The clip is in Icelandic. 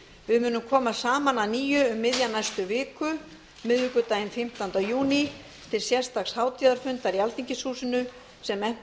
við munum koma saman að nýju um miðja næstu viku miðvikudaginn fimmtánda júní til sérstaks hátíðarfundar í alþingishúsinu sem efnt